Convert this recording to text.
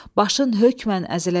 Başın hökmən əziləcək.